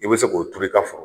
I bi se k'o turu i ka foro